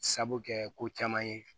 Sabu kɛ ko caman ye